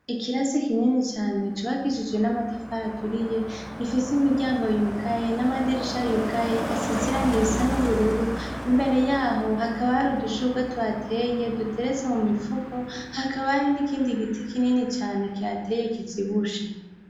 Ikirasi kinini cane co hakishijwe n'amatafara aturiye gifise imiryango yugaye n'amadirisha yugaye asizira ngo irisa n'ubururu imbere yaho hakaba hari udushurwe tuhateye duteretse mu mipfuko hakaba hari n'ikindi giti kinini cane kihateye kizibushe.